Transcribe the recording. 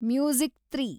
music three